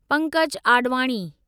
Pankaj Advani